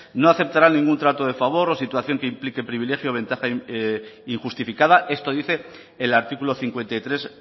no aceptarán ningún trato de favor o situación que implique privilegio o ventaja injustificada esto dice el artículo cincuenta y tres